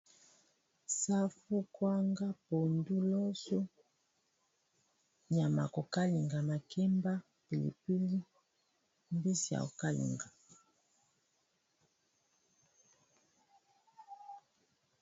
Safu, kwanga, pondu, loso, nyama kokalinga makemba, pilipili, mbisi ya kokalinga